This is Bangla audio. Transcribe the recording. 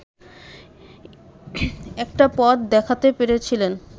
একটা পথ দেখাতে পেরেছিলেন